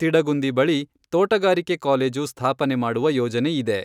ತಿಡಗುಂದಿ ಬಳಿ ತೋಟಗಾರಿಕೆ ಕಾಲೇಜು ಸ್ಥಾಪನೆ ಮಾಡುವ ಯೋಜನೆ ಇದೆ.